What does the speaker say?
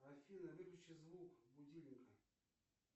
афина выключи звук будильника